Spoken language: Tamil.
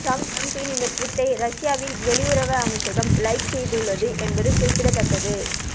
டிரம்பின் இந்த டுவீட்டை ரஷ்யாவின் வெளியுறவு அமைச்சகம் லைக் செய்துள்ளது என்பது குறிப்பிடத்தக்க்கது